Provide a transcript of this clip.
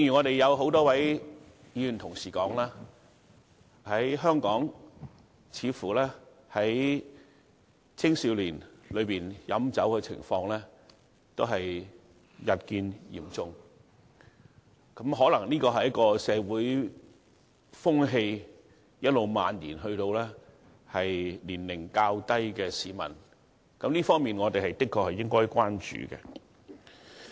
正如很多議員所說，香港青少年飲酒情況似乎日趨嚴重，可能這是一股社會風氣，一直漫延至年齡較小的市民。這個現象，我們的確需要關注。